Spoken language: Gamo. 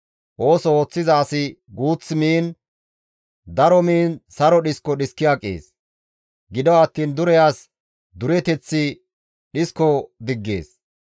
Ooso ooththiza asi guuth miikko, daro miikko saro dhisko dhiski aqees; gido attiin dure as dureteththi dhisko diggees.